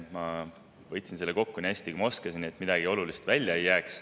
Ma võtsin selle kokku nii hästi, kui ma oskasin, nii et midagi olulist välja ei jääks.